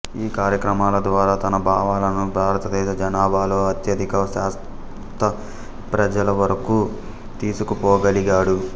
ఈ కార్యక్రమాల ద్వారా తన భావాలను భారతదేశ జనాభాలో అత్యధిక శాత ప్రజల వరకు తీసుకుపోగలిగాడు